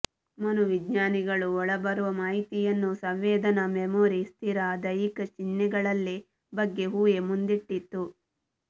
ಮನೋವಿಜ್ಞಾನಿಗಳು ಒಳಬರುವ ಮಾಹಿತಿಯನ್ನು ಸಂವೇದನಾ ಮೆಮೊರಿ ಸ್ಥಿರ ದೈಹಿಕ ಚಿಹ್ನೆಗಳಲ್ಲಿ ಬಗ್ಗೆ ಊಹೆ ಮುಂದಿಟ್ಟಿದ್ದು